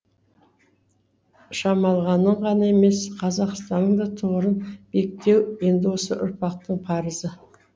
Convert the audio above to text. шамалғанның ғана емес қазақстанның да тұғырын биіктеу енді осы ұрпақтың парызы